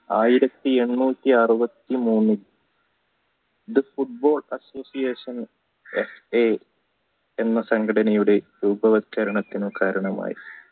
ആയിരത്തി എണ്ണൂറ്റി അറുപത്തി മനൽ football association നും FA എന്ന സംഘടനയുടെയും രൂപ വൽകരണത്തിനും കാരണമായി